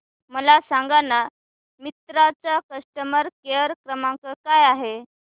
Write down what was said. मला सांगाना मिंत्रा चा कस्टमर केअर क्रमांक काय आहे